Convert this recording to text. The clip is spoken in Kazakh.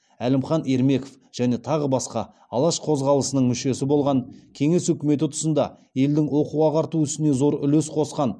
әлімхан ермеков және тағы басқа алаш қозғалысының мүшесі болған кеңес үкіметі тұсында елдің оқу ағарту ісіне зор үлес қосқан